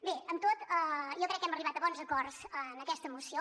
bé amb tot jo crec que hem arribat a bons acords en aquesta moció